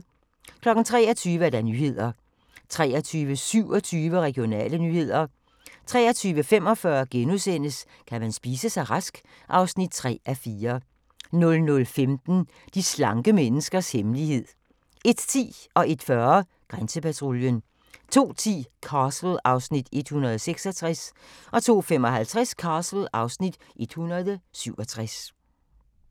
23:00: Nyhederne 23:27: Regionale nyheder 23:45: Kan man spise sig rask? (3:4)* 00:15: De slanke menneskers hemmelighed 01:10: Grænsepatruljen 01:40: Grænsepatruljen 02:10: Castle (Afs. 166) 02:55: Castle (Afs. 167)